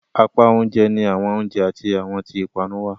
Apá oúnjẹ ni awọn oiunjẹ ati awọtn ipanu wà.